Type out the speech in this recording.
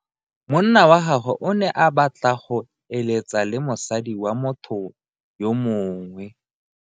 Monna wa gagwe o ne a batla go eletsa le mosadi wa motho yo mongwe.